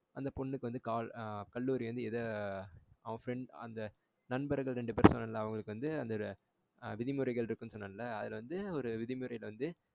அந்த பொண்ணு கால் கல்லூரி வந்து இது அவ friend நண்பர்கள் ரெண்டு பேரு பேசினாங்கல அவங்களுக்கு வந்து விதிமுறைகள் இருக்குன்னு சொன்னேன்ல அது அது வந்து ஒரு விதிமுறையில வந்து